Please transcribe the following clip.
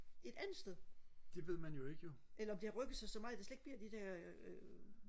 et andet sted eller om det har rykket sig så meget der slet ikke bliver de der øh